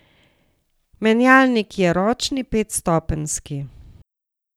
Menjalnik je ročni, petstopenjski.